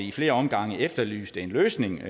i flere omgange efterlyste en løsning